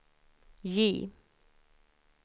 J